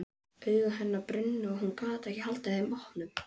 Augu hennar brunnu og hún gat ekki haldið þeim opnum.